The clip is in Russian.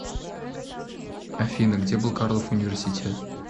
афина где был карлов университет